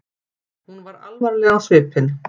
Hún var alvarleg á svipinn.